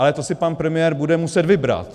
Ale to si pan premiér bude muset vybrat.